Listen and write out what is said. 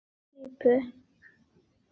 Er komin í laglega klípu.